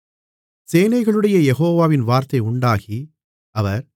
சேனைகளுடைய யெகோவாவின் வார்த்தை உண்டாகி அவர்